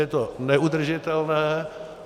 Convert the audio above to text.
Je to neudržitelné.